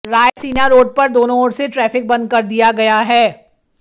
Raisina road पर दोनों ओर से ट्रैफिक बंद कर दिया गया है